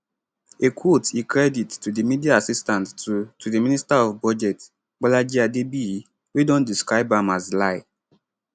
a quote e credit to di media assistant to to the minister of budget bolaji adebiyi wey don describe am as lie